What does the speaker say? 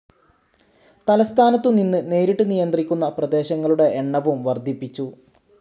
തലസ്ഥാനത്തുനിന്ന് നേരിട്ട് നിയന്ത്രിക്കുന്ന പ്രദേശങ്ങളുടെ എണ്ണവും വർദ്ധിപ്പിച്ചു.